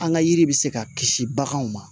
An ka yiri bɛ se ka kisi baganw ma